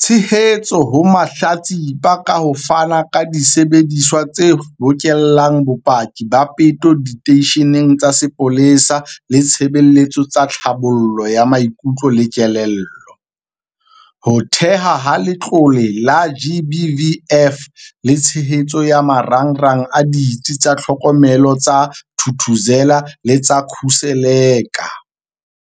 tshehetso ho mahlatsipa ka ho fana ka disebediswa tse bokellang bopaki ba peto diteisheneng tsa sepolesa le ditshebeletso tsa tlhabollo ya maikutlo le kelello, ho thehwa ha Letlole la GBVF le tshehetso ya marangrang a Ditsi tsa Tlhokomelo tsa Thuthuzela le tsa Khuseleka.